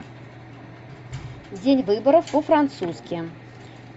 день выборов по французски